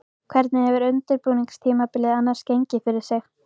Hvernig hefur undirbúningstímabilið annars gengið fyrir sig?